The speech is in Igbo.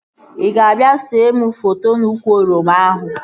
Ị ga-abịa see mụ foto n'úkwù oroma ahụ